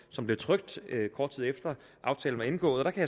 som blev trykt kort tid efter aftalen var indgået og der kan